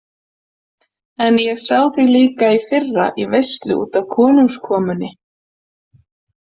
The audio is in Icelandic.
En ég sá þig líka í fyrra í veislu út af konungskomunni.